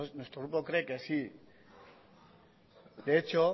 nuestro grupo cree que sí de hecho